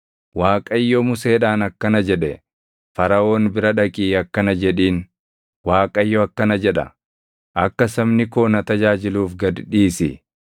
Waaqayyo Museedhaan akkana jedhe; “Faraʼoon bira dhaqii akkana jedhiin; ‘ Waaqayyo akkana jedha: Akka sabni koo na tajaajiluuf gad dhiisi.